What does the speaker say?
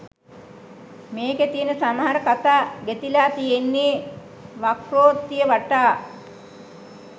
මේකෙ තියෙන සමහර කතා ගෙතිලා තියෙන්නේ වක්‍රෝත්තිය වටා.